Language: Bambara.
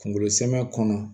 Kunkolo samɛ kɔnɔ